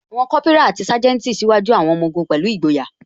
Àwọn Kópírà àti Sanjeti ṣíwájú àwọn ọmọ ogun pẹ̀lú ìgboyà